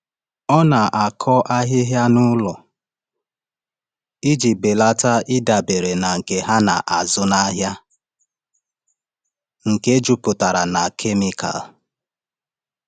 Ọ na-akọ ahịhịa n’ụlọ iji belata ịdabere na nke a na-azụ n’ahịa nke jupụtara na kemikal.